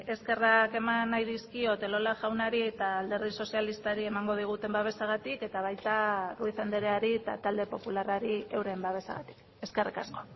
eskerrak eman nahi dizkiot elola jaunari eta alderdi sozialistari emango diguten babesagatik eta baita ruiz andereari eta talde popularrari euren babesagatik eskerrik asko